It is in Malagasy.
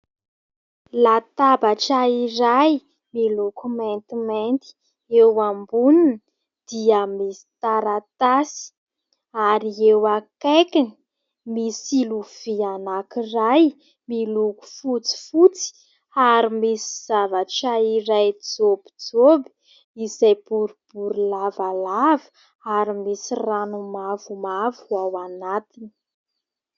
Latabatra iray miloko maintimainty. Eo amboniny dia misy taratasy ary eo akaikiny misy lovia anakiray miloko fotsifotsy ary misy zavatra iray jopijoby izay boribory lavalava ary misy rano mavomavo ao anatiny.